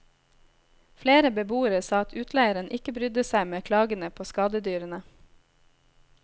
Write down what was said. Flere beboere sa at utleieren ikke brydde seg med klagene på skadedyrene.